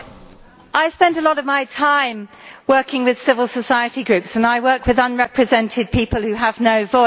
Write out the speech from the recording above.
I spend a lot of my time working with civil society groups and I work with unrepresented people who have no voice.